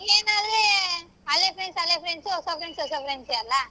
ಏನ್ ಅಲ್ಲಿ ಹಳೆ friends ಹಳೆ friends ಹೊಸ friends ಹೊಸ friends ಏ ಅಲ್ಲಾ.